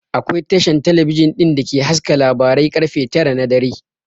Akwai Tasha talabijin ɗin da ke haska labarai ƙarfe tara na dare